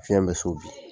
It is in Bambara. Fiɲɛ bɛ so bi